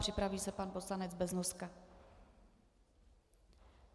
Připraví se pan poslanec Beznoska.